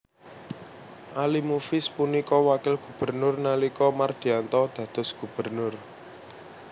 Ali Mufiz punika wakil gubernur nalika Mardiyanto dados gubernur